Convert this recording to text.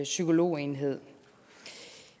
psykologenhed